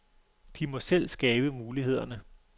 De må selv skabe mulighederne.